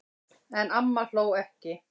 En amma hló ekki.